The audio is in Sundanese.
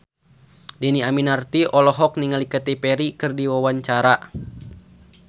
Dhini Aminarti olohok ningali Katy Perry keur diwawancara